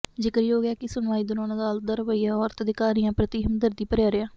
ਜ਼ਿਕਰਯੋਗ ਹੈ ਕਿ ਸੁਣਵਾਈ ਦੌਰਾਨ ਅਦਾਲਤ ਦਾ ਰਵੱਈਆ ਔਰਤ ਅਧਿਕਾਰੀਆਂ ਪ੍ਰਤੀ ਹਮਦਰਦੀ ਭਰਿਆ ਰਿਹਾ